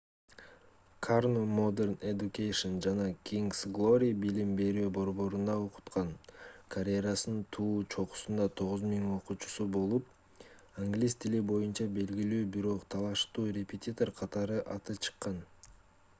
карно modern education жана king's glory билим берүү борборунда окуткан карьерасынын туу чокусунда 9000 окуучусу болуп англис тили боюнча белгилүү бирок талаштуу репетитор катары аты чыккан